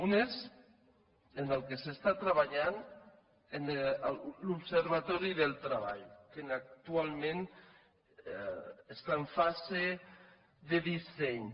un és en què s’està treballant l’observatori del treball que actualment està en fase de disseny